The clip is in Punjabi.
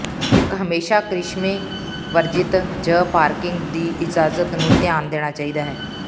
ਇਕ ਹਮੇਸ਼ਾ ਕਰਿਸ਼ਮੇ ਵਰਜਿਤ ਜ ਪਾਰਕਿੰਗ ਦੀ ਇਜਾਜਤ ਨੂੰ ਧਿਆਨ ਦੇਣਾ ਚਾਹੀਦਾ ਹੈ